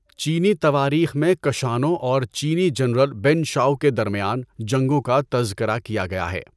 چینی تواریخ میں کشانوں اور چینی جنرل بین چاوٴ کے درمیان جنگوں کا تذکرہ کیا گیا ہے۔